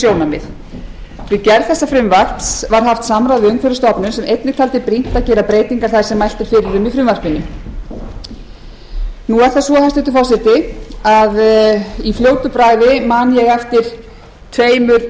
sjónarmið við gerð frumvarpsins var haft samráð við umhverfisstofnun sem einnig taldi brýnt að gera breytingar þær sem mælt er fyrir um í frumvarpinu hæstvirtur forseti í fljótu bragði man ég eftir tvennum lögum sem